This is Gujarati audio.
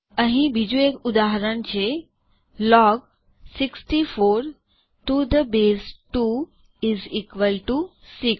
અહીં બીજું એક ઉદાહરણ છે log 64 to the base 2 is equal to 6